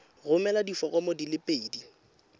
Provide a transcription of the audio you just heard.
romela diforomo di le pedi